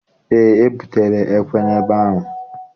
Eé, ebutere ekwe n'ebe ahụ.